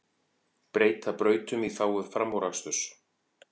Breyta brautum í þágu framúraksturs